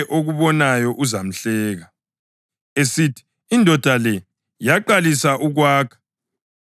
esithi, ‘Indoda le yaqalisa ukwakha, kodwa yehluleka ukuqeda.’